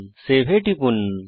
save এ টিপুন